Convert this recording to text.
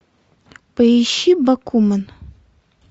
поищи бакумен